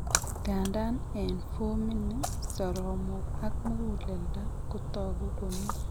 Nganda en fomini soromok ak mugulelda kotagu komi